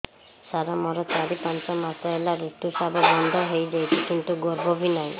ସାର ମୋର ଚାରି ପାଞ୍ଚ ମାସ ହେଲା ଋତୁସ୍ରାବ ବନ୍ଦ ହେଇଯାଇଛି କିନ୍ତୁ ଗର୍ଭ ବି ନାହିଁ